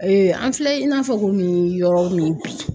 an filɛ i n'a fɔ komi yɔrɔ min bi